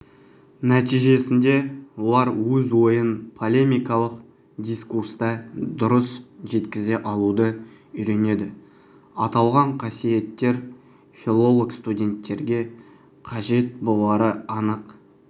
нәтижесінде олар өз ойын полемикалық дискурста дұрыс жеткізе алуды үйренеді аталған қасиеттер филолог-студенттерге қажет болары анық